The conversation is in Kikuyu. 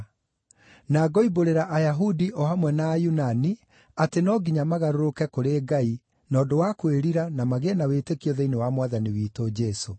Na ngoimbũrĩra Ayahudi o hamwe na Ayunani atĩ no nginya magarũrũke kũrĩ Ngai na ũndũ wa kwĩrira na magĩe na wĩtĩkio thĩinĩ wa Mwathani witũ Jesũ.